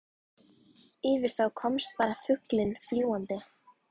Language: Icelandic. um að ræða eigin hlutabréf, stofnkostnað, gengistap og viðskiptavild.